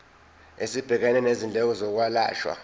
esibhekene nezindleko zokwelashwa